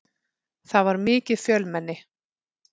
Það var mikið fjölmenni.